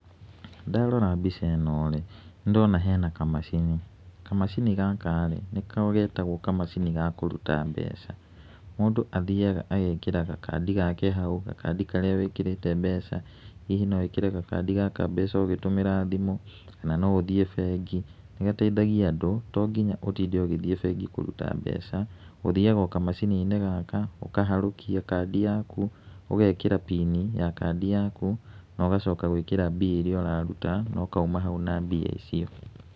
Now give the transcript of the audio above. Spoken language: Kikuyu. Ndarora mbica ĩno-rĩ, nĩndĩrona hena kamacini. Kamacini gaka-rĩ, nĩko getagwo kamacini ga kũruta mbeca. Mũndũ athiaga agekĩra gakandi gake hau, gakandi karĩa wĩkĩrĩte mbeca. Hihi no wĩkĩre gakandi gaka mbeca ũgĩtũmĩra thimũ, na no ũthiĩ bengi, nĩgateithagia andũ to nginya ũtinde ũgĩthiĩ bengi kũruta mbeca, ũthiaga o kamacini-inĩ gaka, ũkaharũkia kandi yaku, ũgekĩra pini ya kandi yaku na ũgacoka gwĩkĩra mbia iria ũraruta na ũkauma hau na mbia icio.